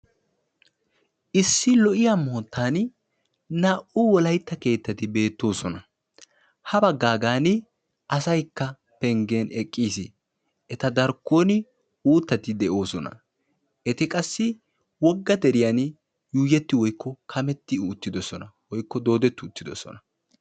Issi lo'iya moottan naa'u wolaytta keettati beettoosona. Ha baggaagan asaykka penggen eqqis. Eta darkkon uuttati de'oosona. Eti qassi wogga deriyan yuuyetti woykko kametti uttidosona woykko doodetti uttidosona.